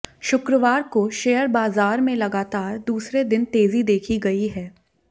शुक्रवार को शेयर बाजार में लगातार दूसरे दिन तेजी देखी गई है